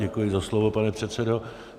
Děkuji za slovo, pane předsedo.